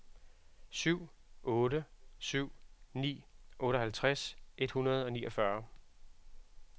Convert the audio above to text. syv otte syv ni otteoghalvtreds et hundrede og niogfyrre